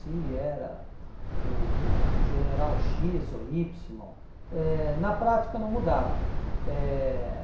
se era o o o general xis ou ípsilo, eh na prática não mudava. Eh